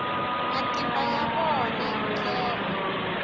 matimba ya vona hi ndlela